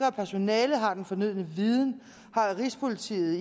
at personalet har den fornødne viden har rigspolitiet